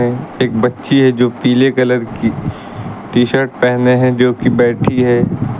एक बच्ची है जो पीले कलर की टी-शर्ट पहने हैं जो कि बैठी है।